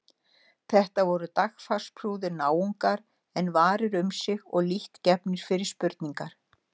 Þetta voru dagfarsprúðir náungar en varir um sig og lítt gefnir fyrir spurningar.